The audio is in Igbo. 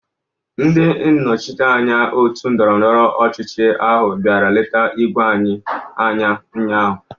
Ndị nnọchiteanya òtù ndọrọ ndọrọ ọchịchị ahụ bịara leta ígwé anyị ụnyahụ.